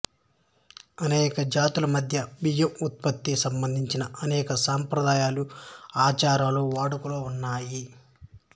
అనేక జాతుల మధ్య బియ్యం ఉత్పత్తికి సంబంధించిన అనేక సంప్రదాయాలు ఆచారాలు వాడుకలో ఉన్నాయి